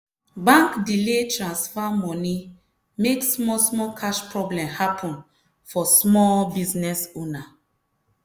bank delay transfer moni make small small cash problem happen for small business owner.